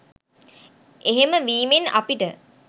එහෙම වීමෙන් අපිට